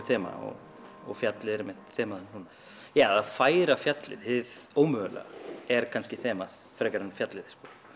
þema og fjallið er einmitt þemað núna já eða að færa fjallið hið ómögulega er kannski þemað frekar en fjallið